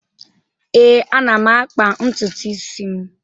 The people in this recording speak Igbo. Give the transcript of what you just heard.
Ee, ana m akpa ntutu isi m.